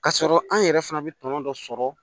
K'a sɔrɔ an yɛrɛ fana bɛ tɔnɔ dɔ sɔrɔ